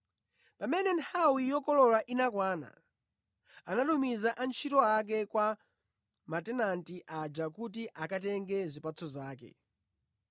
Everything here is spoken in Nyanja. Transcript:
Pamene nthawi yokolola inakwana, anatumiza antchito ake kwa matenanti aja kuti akatenge zipatso zake.